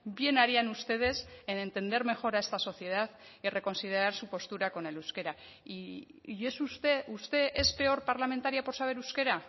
bien harían ustedes en entender mejor a esta sociedad y reconsiderar su postura con el euskera y es usted usted es peor parlamentaria por saber euskera